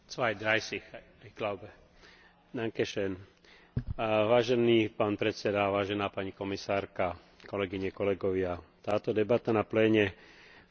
Táto debata na pléne v Štrasburgu v túto neskorú večernú hodinu by nás mala vyburcovať ku kvalitnej diskusii, ale predovšetkým ku hmatateľným výsledkom.